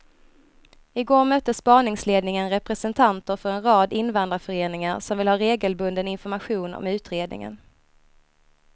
I går mötte spaningsledningen representanter för en rad invandrarföreningar som vill ha regelbunden information om utredningen.